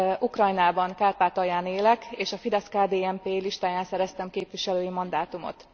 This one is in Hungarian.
Ukrajnában, Kárpátalján élek, és a FIDESZ KDNP listáján szereztem képviselői mandátumot.